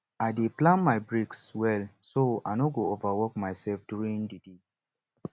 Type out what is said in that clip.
i dey plan my breaks well so i no go overwork myself during di day